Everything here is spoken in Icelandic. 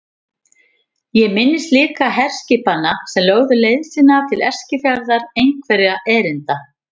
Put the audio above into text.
Ég minnist líka herskipanna sem lögðu leið sína til Eskifjarðar einhverra erinda.